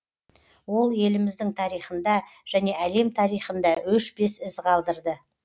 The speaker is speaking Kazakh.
ол еліміздің тарихында және әлем тарихында өшпес із қалдырды